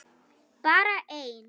Bara einn.